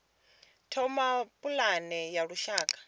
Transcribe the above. thoma pulane ya lushaka ya